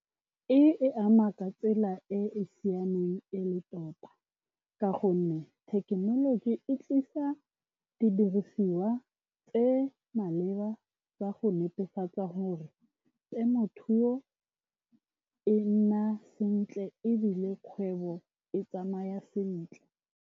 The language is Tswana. E ama ka tsela e e siameng e le tota, ka gonne thekenoloji e tlisa di dirisiwa tse di maleba tsa go netefatsa gore temothuo e nna sentle, ebile kgwebo e tsamaya sentle.